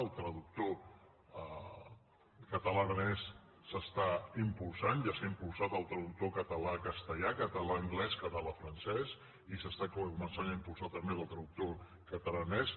el traductor català aranès s’està impulsant ja s’ha impulsat el traductor català castellà català anglès català francès i s’està començant a impulsar també el traductor catalàaranès